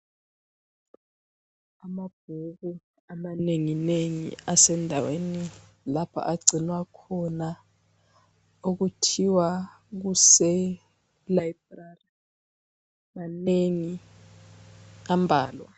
Amabhuku amanenginengi asendaweni lapha agcinwa khona, okuthiwa kuseLibrary. Manengi ambalwa.